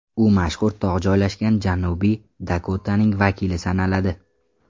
U mashhur tog‘ joylashgan Janubiy Dakotaning vakili sanaladi.